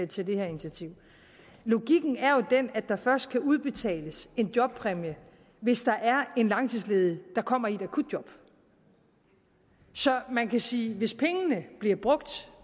til det her initiativ at logikken jo er den at der først kan udbetales en jobpræmie hvis der er en langtidsledig der kommer i et akutjob så man kan sige at hvis pengene bliver brugt